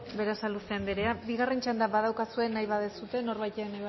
berasaluze andrea bigarren txanda badaukazue nahi baduzue norbaitek nahi